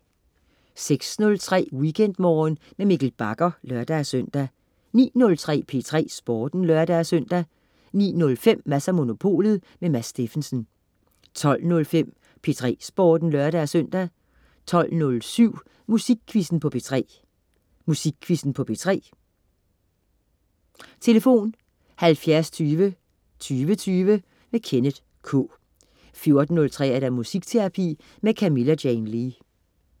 06.03 WeekendMorgen med Mikkel Bagger (lør-søn) 09.03 P3 Sporten (lør-søn) 09.05 Mads & Monopolet. Mads Steffensen 12.05 P3 Sporten (lør-søn) 12.07 Musikquizzen på P3. Musikquizzen på P3. Tlf.: 70 20 20 20. Kenneth K 14.03 Musikterapi med Camilla Jane Lea